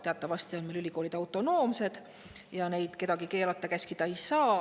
Teatavasti on ülikoolid meil autonoomsed ja neid keelata-käskida ei saa.